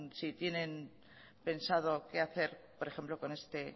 si tienen pensado qué hacer por ejemplo con este